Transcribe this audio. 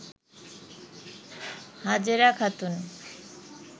Hajera Khatun